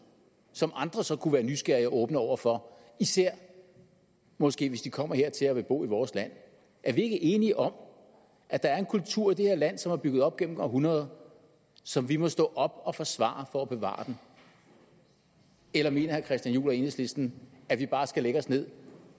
som andre så kunne være nysgerrige og åbne over for især måske hvis de kommer hertil og vil bo i vores land er vi ikke enige om at der er en kultur i det her land som er bygget op gennem århundreder som vi må stå op og forsvare for at bevare eller mener herre christian juhl og enhedslisten at vi bare skal lægge os ned